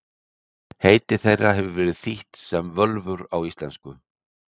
Heiti þeirra hefur verið þýtt sem völvur á íslensku.